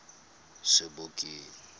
sebokeng